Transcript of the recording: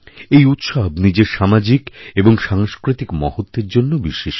এই উৎসব নিজের সামাজিক এবং সাংস্কৃতিক মহত্বের জন্য বিশিষ্ট